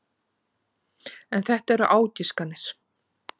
En þetta eru ágiskanir.